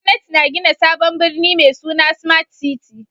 Gwamnati na gina sabon birni mai suna Smart City